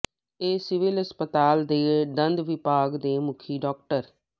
ਏ civil ਹਸਪਤਾਲ ਦੇ ਦੰਦ ਵਿਭਾਗ ਦੇ ਮੁਖੀ ਡਾ